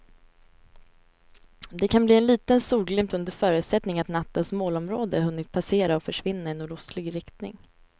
Det kan bli en liten solglimt under förutsättning att nattens molnområde hunnit passera och försvinna i nordostlig riktning.